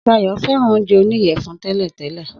Sayò fẹ́ràn oúnjẹ oníyèfun tẹ́lẹ̀ tẹ́lẹ̀